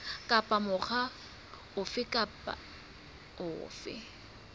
kapa mokga ofe kapa ofe